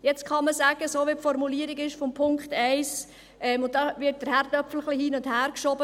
Jetzt kann man, so wie die Formulierung von Punkt 1 ist, sagen – und da wird die Kartoffel ein wenig hin und her geschoben: